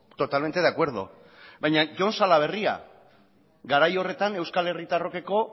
totalmente de acuerdo baina jon salaberria garai horretan euskal herritarrokeko